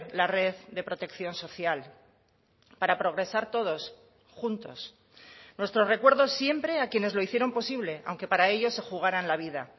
la red de protección social para progresar todos juntos nuestro recuerdo siempre a quienes lo hicieron posible aunque para ello se jugaran la vida